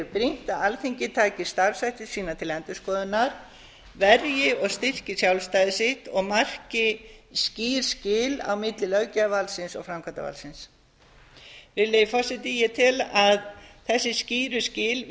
brýnt að alþingi taki starfshætti sína til endurskoðunar verji og styrki sjálfstæði sitt og marki skýr skil á milli löggjafarvaldsins og framkvæmdarvaldsins virðulegi forseti ég tel að þessi skýru skil